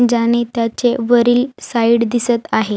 ज्याने त्याचे वरील साइड दिसत आहे.